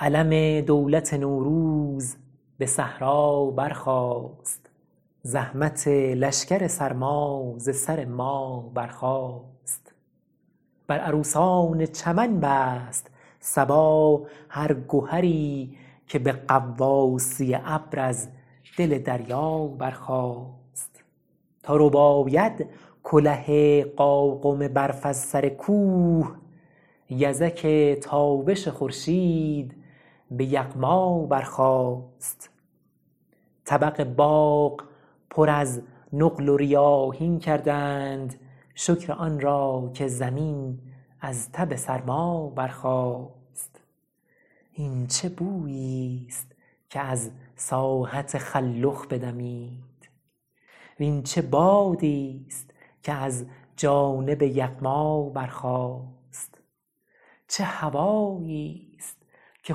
علم دولت نوروز به صحرا برخاست زحمت لشکر سرما ز سر ما برخاست بر عروسان چمن بست صبا هر گهری که به غواصی ابر از دل دریا برخاست تا رباید کله قاقم برف از سر کوه یزک تابش خورشید به یغما برخاست طبق باغ پر از نقل و ریاحین کردند شکر آن را که زمین از تب سرما برخاست این چه بوییست که از ساحت خلخ بدمید وین چه بادیست که از جانب یغما برخاست چه هواییست که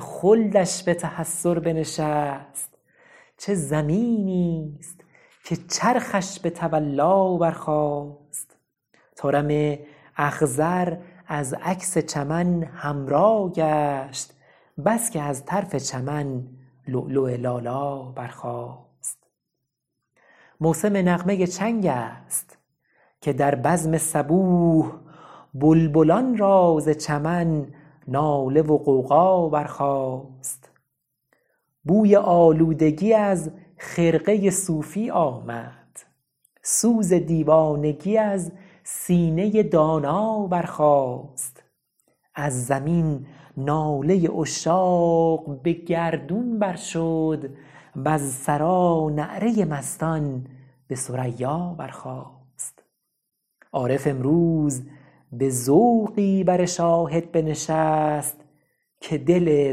خلدش به تحسر بنشست چه زمینیست که چرخش به تولا برخاست طارم اخضر از عکس چمن حمرا گشت بس که از طرف چمن لؤلؤ لالا برخاست موسم نغمه چنگست که در بزم صبوح بلبلان را ز چمن ناله و غوغا برخاست بوی آلودگی از خرقه صوفی آمد سوز دیوانگی از سینه دانا برخاست از زمین ناله عشاق به گردون بر شد وز ثری نعره مستان به ثریا برخاست عارف امروز به ذوقی بر شاهد بنشست که دل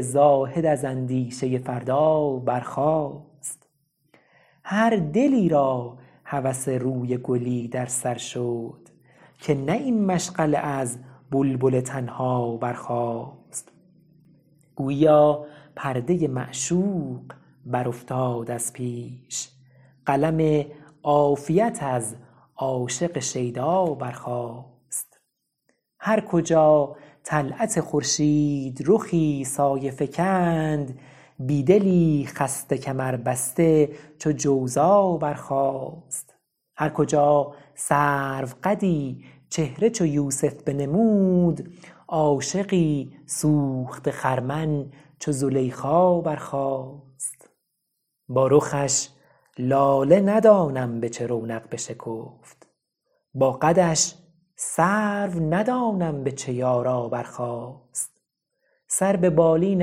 زاهد از اندیشه فردا برخاست هر دلی را هوس روی گلی در سر شد که نه این مشغله از بلبل تنها برخاست گوییا پرده معشوق برافتاد از پیش قلم عافیت از عاشق شیدا برخاست هر کجا طلعت خورشیدرخی سایه فکند بیدلی خسته کمربسته چو جوزا برخاست هرکجا سروقدی چهره چو یوسف بنمود عاشقی سوخته خرمن چو زلیخا برخاست با رخش لاله ندانم به چه رونق بشکفت با قدش سرو ندانم به چه یارا برخاست سر به بالین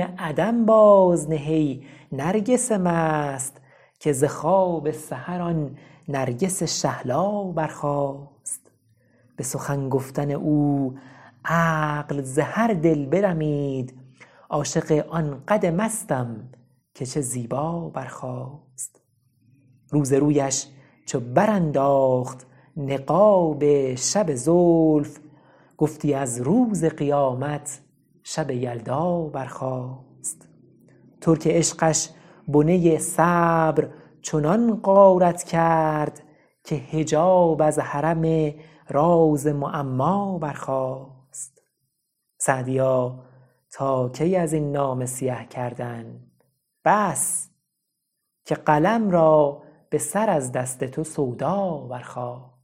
عدم بازنه ای نرگس مست که ز خواب سحر آن نرگس شهلا برخاست به سخن گفتن او عقل ز هر دل برمید عاشق آن قد مستم که چه زیبا برخاست روز رویش چو برانداخت نقاب شب زلف گفتی از روز قیامت شب یلدا برخاست ترک عشقش بنه صبر چنان غارت کرد که حجاب از حرم راز معما برخاست سعدیا تا کی ازین نامه سیه کردن بس که قلم را به سر از دست تو سودا برخاست